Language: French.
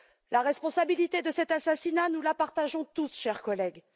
La responsabilité de cet assassinat, nous la partageons tous, chers collègues.